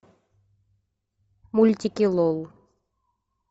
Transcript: мультики лол